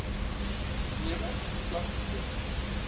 nemers vlak dept